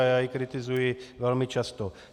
A já ji kritizuji velmi často.